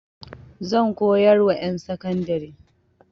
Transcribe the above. Zan koyar wa ƴan sakandari.